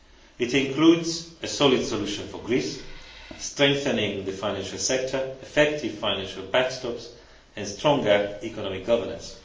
It includes a solid solution for Greece, strengthening the financial sector, effective financial backstops, and stronger economic governance.